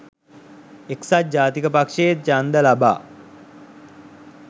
එක්සත් ජාතික පක්ෂය ඡන්ද ලබා